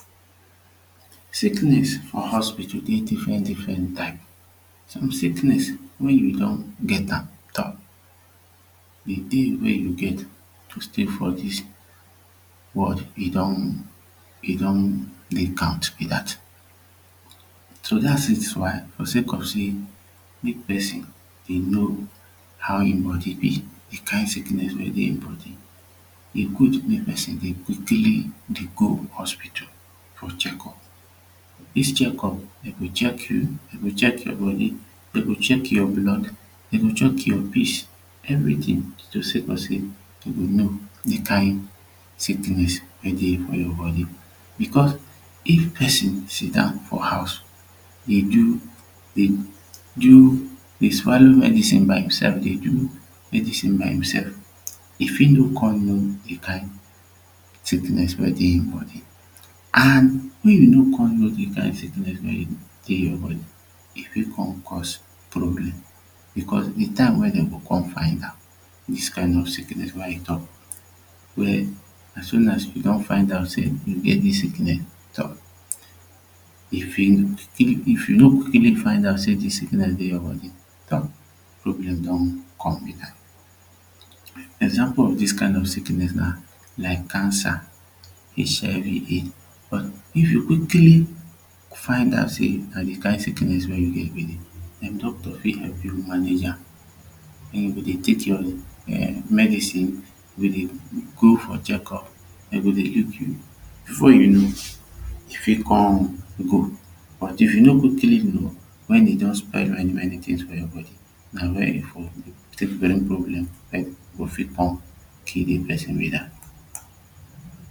sickness for hospital dey different different types some sickness wen you don get am um de day wey you get to stay for dis world e don e don dey count be dat so dat is why for sake of say make person dey know how him body be de kind sickness wey dey him body. E good mek person dey quickly dey go hospital for check up. dis check up dem go check you, dem go check your body, dem go check your blood dem go check your piss everything to sake of say dem go know the kind sickness wey dey for your body becos if person sidown for house dey do dey do dey swallow medicine by himself dey do medicine by himself e fit no come know the kind sickness wey dey him body an wen you no come know de kind sickness wey dey your body e fit come cause problem becos de time wey dem go come find am dis kind of sickness wey you talk wey as soon as you don find out say you get dis sickness e fit if you no even find out say dis sickness dey your body problem don come be dat example of dis kind of sickness na like cancer HIV AIDS but if you quickly find out say na de kind sickness wey you get doctor fit help you manage am an you go dey tek your um medicine you go dey go for check up before you know e fit come go but if you no quickly know wen e don spoil many many tings for your body na wia you for tek bring problem mek go fit come kill de person be dat